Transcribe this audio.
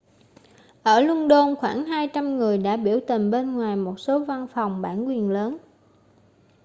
ở luân đôn khoảng 200 người đã biểu tình bên ngoài một số văn phòng bản quyền lớn